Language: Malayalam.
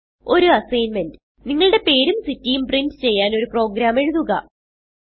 ഒരു അസ്സിഗ്ന്മെന്റ് നിങ്ങളുടെ പേരും സിറ്റിയും പ്രിന്റ് ചെയ്യാൻ ഒരു പ്രോഗ്രാം എഴുതുക